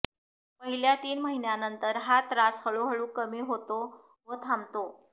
पहिल्या तीन महिन्यानंतर हा त्रास हळूहळू कमी होतो व थांबतो